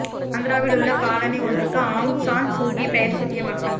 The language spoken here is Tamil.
ஆந்திராவில் உள்ள காலனி ஒன்றுக்கு ஆங் சான் சூகி பெயர் சூட்டிய மக்கள்